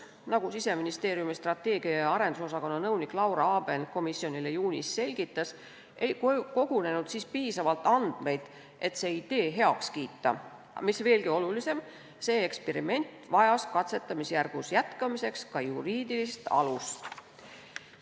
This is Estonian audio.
Nagu Siseministeeriumi strateegia- ja arendusosakonna nõunik Laura Aaben komisjonile juunis selgitas, ei kogunenud siis piisavalt andmeid, et see idee heaks kiita, aga, mis veelgi olulisem, see eksperiment vajas katsetamisjärgus jätkamiseks ka juriidilist alust.